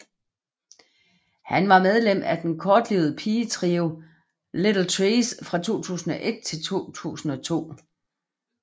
Hun var medlem af den kortlivede pigetrio Little Trees fra 2001 til 2002